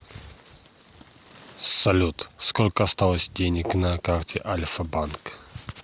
салют сколько осталось денег на карте альфа банк